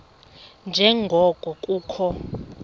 nje ngoko kukho